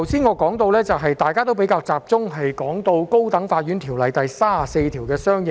我剛才也提及，大家比較集中討論《高等法院條例》第34條的相應修訂。